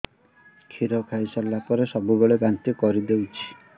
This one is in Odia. କ୍ଷୀର ଖାଇସାରିଲା ପରେ ସବୁବେଳେ ବାନ୍ତି କରିଦେଉଛି